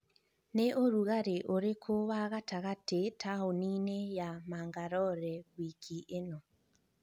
ni ũrugarĩ uriku wa gatagatĩ taũni-inĩ ya Mangalorewiki ĩno?